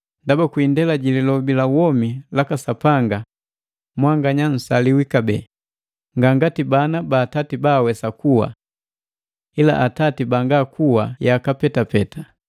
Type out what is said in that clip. Ndaba kwi indela ji Lilobi la womi laka Sapanga, mwanganya nsaliwi kabee, nga ngati bana ba atati baawesa kuwa. Ila atati banga kuwa yaka petapeta.